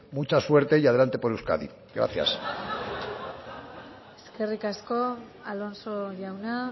mucha suerte y adelante por euskadi gracias eskerrik asko alonso jauna